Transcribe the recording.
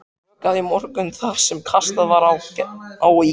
Vökvað í morgun það sem kastað var á í gær.